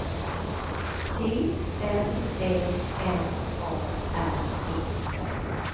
T R Ä N A R E